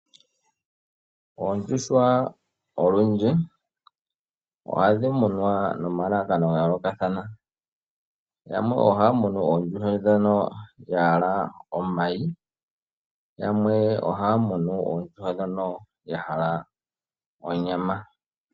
Oondjuhwa olundji oha dhi munwa nomalalakano ga yookathana, yamwe oha ya munu oondjuhwa ndhono ya hala omayi yamwe oha ya munu oondjuhwa ndhono ya hala onyama.